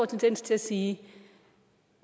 tendens til at sige at